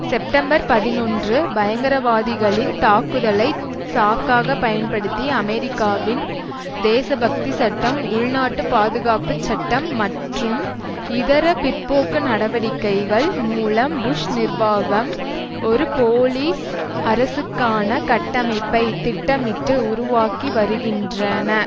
September பதினொன்று பயங்கரவாதிகளின் தாக்குதலை சாக்காக பயன்படுத்தி அமெரிக்காவின் தேசப்பக்தி சட்டம் உள்நாட்டு பாதுகாப்புச்சட்டம் மற்றும் இதர பிற்போக்கு நடவடிக்கைகள் மூலம் புஷ் நிர்வாகம் ஒரு போலீஸ் அரசுக்கான கட்டமைப்பை திட்டமிட்டு உருவாக்கி வருகின்றன